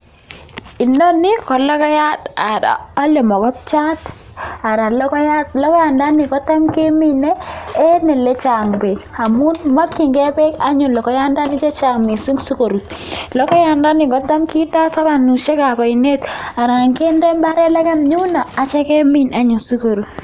Inoni ko logoyat. Logoyandani ko tam ke mine eng ole chaa'ng beek amun makchingei beek anyon logoyandani chechaa'ng missing si ko rut, logoyandani ko cham kindoi tabanisyek ab ainet anan kinde mbaret legem yuno atya Kemin anyon si ko rut.